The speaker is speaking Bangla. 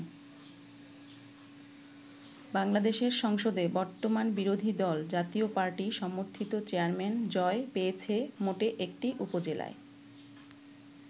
বাংলাদেশের সংসদে বর্তমান বিরোধী দল জাতীয় পার্টি সমর্থিত চেয়ারম্যান জয় পেয়েছে মোটে একটি উপজেলায়।